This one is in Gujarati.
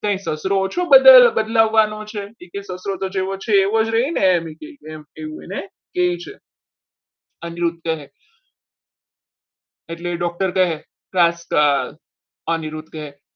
કઈ સસરો બદલવાનો છે એવું જ રહે ને એવું એને કહે છે. અનિરુદ્ધ કહે એટલે doctor કહે અનિરુદ્ધ કહે.